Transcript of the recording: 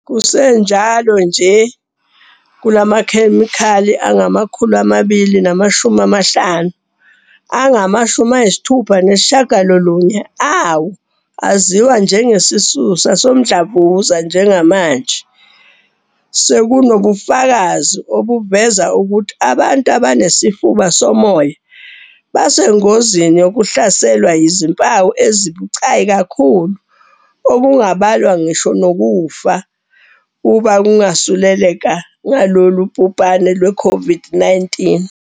Kusenjalo nje, kulamakhemikhali angama-250, angama-69 awo aziwa njengesisusa somdlavuza. "Njengamanje, sekunobufakazi obuveza ukuthi abantu abanesifuba somoya basengozini yokuhlaselwa yizimpawu ezibucayi kakhulu okungabalwa ngisho nokufa uma bengasuleleka ngalolu bhubhane lwe-COVID-19."